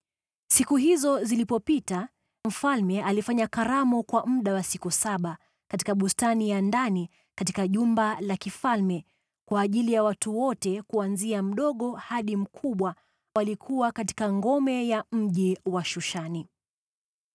Siku hizo zilipopita, mfalme alifanya karamu kwa muda wa siku saba, katika bustani ya ndani katika jumba la kifalme, kwa ajili ya watu wote kuanzia mdogo hadi mkubwa, waliokuwa katika ngome ya mji wa Shushani.